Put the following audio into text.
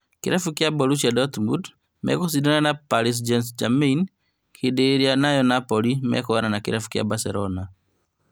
Kĩrabu kĩa Borussia Dortmund megũ cindana na Paris St-Germain hĩndi ĩrĩa nayo Napoli mekwoyana na Kĩrabu kĩa Barcelona